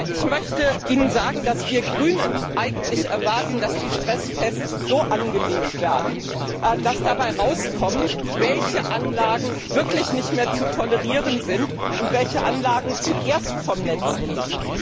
Ich möchte Ihnen sagen, dass wir Grünen erwarten, dass die Stresstests so angelegt werden, dass dabei rauskommt, welche Anlagen wirklich nicht mehr zu tolerieren sind und welche Anlagen zuerst vom Netz gehen.